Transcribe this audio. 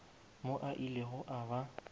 mo a ilego a ba